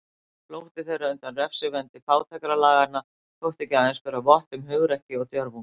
Flótti þeirra undan refsivendi fátækralaganna þótti ekki aðeins bera vott um hugrekki og djörfung.